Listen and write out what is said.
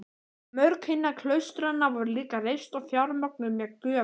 Mörg hinna klaustranna voru líka reist og fjármögnuð með gjöfum.